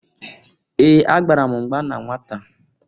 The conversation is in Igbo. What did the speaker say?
Ee! Agbara m mgba na nwata.